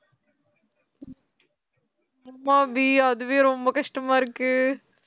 ஆமா அபி அதுவே ரொம்ப கஷ்டமா இருக்கு